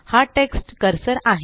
हा text cursor आहे